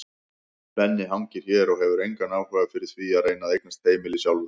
Benni hangir hér og hefur engan áhuga fyrir því að reyna að eignast heimili sjálfur.